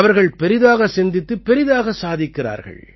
அவர்கள் பெரிதாகச் சிந்தித்து பெரிதாகச் சாதிக்கிறார்கள்